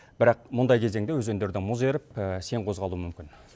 бірақ мұндай кезеңде өзендерде мұз еріп сең козғалуы мүмкін